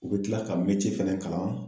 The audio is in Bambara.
U bi kila ka fɛnɛ kalan